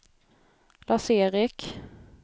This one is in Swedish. Lars-Erik